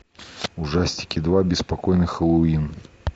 ужастики два беспокойный хэллоуин